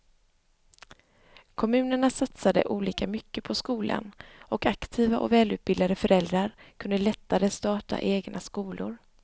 Kommunerna satsade olika mycket på skolan och aktiva och välutbildade föräldrar kunde lättare starta egna skolor.